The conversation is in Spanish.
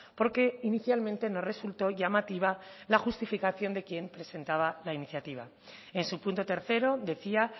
porque inicialmente no resultó llamativa la justificación de quien presentaba la iniciativa en su punto tercero decía